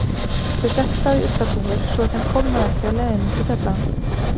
Þau settu þá í ullarhúfur svo að þeim kólnaði ekki á leiðinni út í kjallarann.